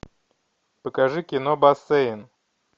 покажи кино бассейн